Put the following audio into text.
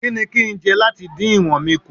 Kí ni kín ń jẹ láti dín ìwọ̀n mi kù?